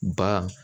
Ba